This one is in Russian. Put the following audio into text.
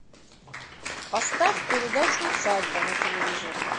поставь передачу усадьба на телевизоре